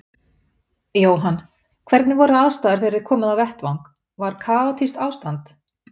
Jóhann: Hvernig voru aðstæður þegar þið komuð á vettvang, var kaotískt ástand?